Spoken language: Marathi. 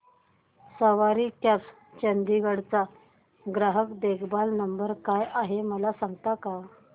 सवारी कॅब्स चंदिगड चा ग्राहक देखभाल नंबर काय आहे मला सांगता का